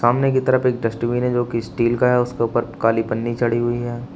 सामने की तरफ एक डस्टबिन है जो की स्टील का है उसके ऊपर काली पन्नी चढ़ी हुई है।